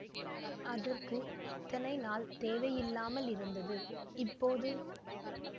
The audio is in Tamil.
அதற்கு இத்தனை நாள் தேவையில்லாமல் இருந்தது இப்போது